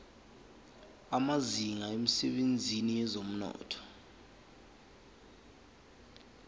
amazinga emsebenzini wezomnotho